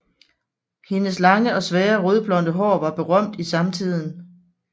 Hendes lange og svære rødblonde hår var berømt i samtiden